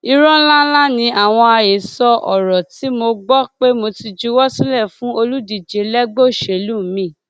irọ ńlá ńlá ni àwọn àhesọ ọrọ tí mò ń gbọ pé mo ti juwọ sílẹ fún olùdíje lẹgbẹ òṣèlú miín